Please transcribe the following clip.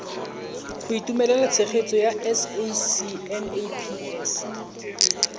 go itumelela tshegetso ya sacnasp